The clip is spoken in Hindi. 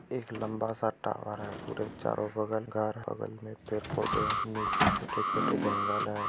एक लंबा-सा टावर है और एक चारों बगल घर बगल में पेड़-पौधे हैं| नीचे छोटे-छोटे जंगल है।